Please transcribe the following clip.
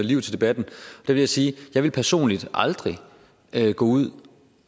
liv til debatten vil jeg sige jeg ville personligt aldrig gå ud